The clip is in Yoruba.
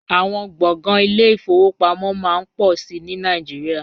Àwọn gbọ̀ngàn ile-ìfowópamọ́ máa ń pọ̀ sí i ní Nàìjíríà